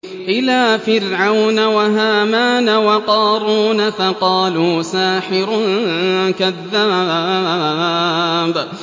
إِلَىٰ فِرْعَوْنَ وَهَامَانَ وَقَارُونَ فَقَالُوا سَاحِرٌ كَذَّابٌ